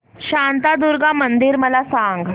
शांतादुर्गा मंदिर मला सांग